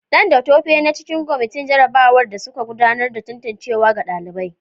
Dan da Tope na cikin kwamitin jarrabawar da suka gudanar da tantancewa ga ɗalibai.